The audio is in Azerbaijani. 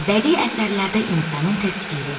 Bədii əsərlərdə insanın təsviri.